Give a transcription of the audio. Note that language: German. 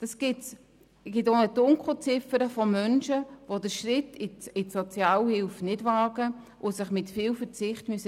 Es gibt eine Dunkelziffer von Menschen, die den Schritt in die Sozialhilfe nicht wagen und sich mit viel Verzicht durchbringen müssen.